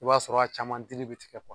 I b'a sɔrɔ a caman dili bɛ tigɛ